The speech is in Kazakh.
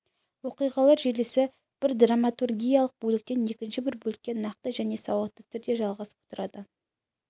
оқиғалар желісі бір драматургиялық бөліктен екінші бір бөлікке нақты және сауатты түрде жалғасып отырады